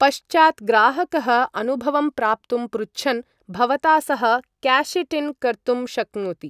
पश्चात्, ग्राहकः अनुभवं प्राप्तुं पृच्छन् भवता सह काश् इट् इन् कर्तुं शक्नोति।